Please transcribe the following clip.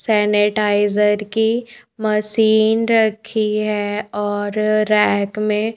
sanitiser की machine रखी हैऔर रैक में--